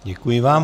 Děkuji vám.